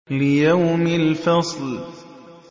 لِيَوْمِ الْفَصْلِ